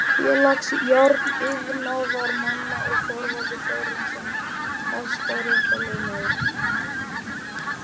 Félags járniðnaðarmanna og Þorvaldur Þórarinsson hæstaréttarlögmaður.